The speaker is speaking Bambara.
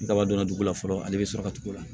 Daba donna dugu la fɔlɔ ale bɛ sɔrɔ ka tugu o la